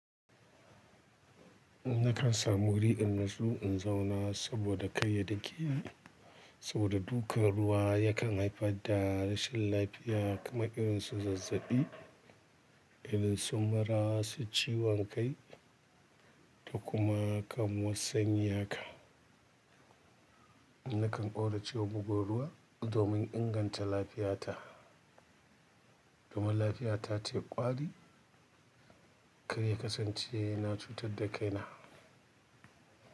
Nakan samu wuri in nasu in zauna saboda kai ya dakeni, saboda dukan ruwa yakan haifar da rashin lafiya kamar irin su zazzaɓi, irin su mura, su ciwon kai da kuma kamuwa sanyi haka. Nakan ƙauracewa bugu ruwa domin inganta lafiyata. Domin lafiyata ta ƙwari kai ya kasance yana cutar da kaina.